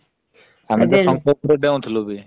ଡେଉଁଥିଲୁ ବି ।